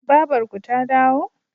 babarku ta dawo?